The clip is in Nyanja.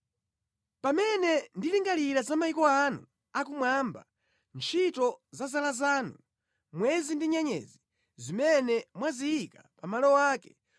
Pamene ndilingalira za mayiko anu akumwamba, ntchito ya zala zanu, mwezi ndi nyenyezi, zimene mwaziyika pa malo ake,